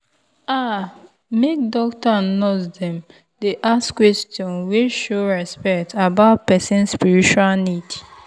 ah make doctor and nurse dem dey ask question wey show respect about person spiritual need.